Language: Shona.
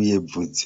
uye bvudzi.